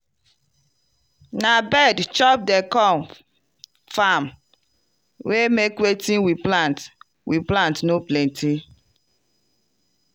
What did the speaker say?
na bird chop di corn farm wey make wetin we plant we plant no plenty.